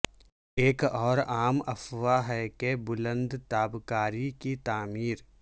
ایک اور عام افواہ ہے کہ بلند تابکاری کی تعمیر